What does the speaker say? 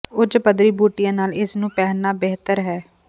ਉੱਚ ਪੱਧਰੀ ਬੂਟੀਆਂ ਨਾਲ ਇਸ ਨੂੰ ਪਹਿਨਣਾ ਬਿਹਤਰ ਹੈ